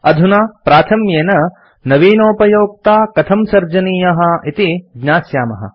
अधुना प्राथम्येन नवीनोपयोक्ता कथं सर्जनीयः इति ज्ञास्यामः